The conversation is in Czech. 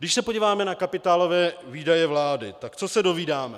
Když se podíváme na kapitálové výdaje vlády, tak co se dovídáme.